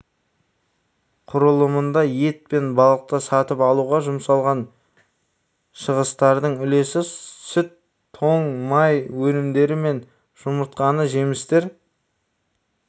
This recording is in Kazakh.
құрылымында ет пен балықты сатып алуға жұмсалған шығыстардың үлесі сүт тоң май өнімдері мен жұмыртқаны жемістер